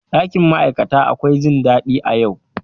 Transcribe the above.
Ɗakin ma'aikata akwai jin daɗi a yau.